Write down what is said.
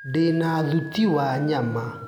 ndĩna thuti wa nyama.